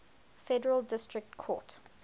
federal district court